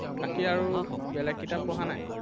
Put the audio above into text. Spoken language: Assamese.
বাকী আৰু বেলেগ কিতাপ পঢ়া নাই?